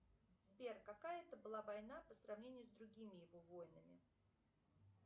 сбер какая это была война по сравнению с другими его войнами